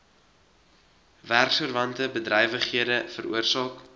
werksverwante bedrywighede veroorsaak